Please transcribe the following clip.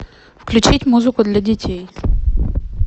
включить музыку для детей